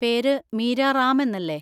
പേര് മീര റാം എന്നല്ലേ?